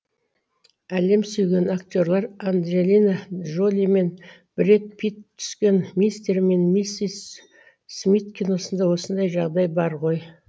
әлем сүйген актерлер анджелина джоли мен бред пит түскен мистер мен миссис смит киносында осындай жағдай бар ғой